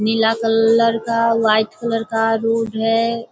नीला colour का white colour का room है।